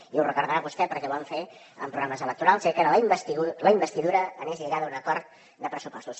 i ho recordarà vostè perquè ho vam fer en programes electorals era que la investidura anés lligada a un acord de pressupostos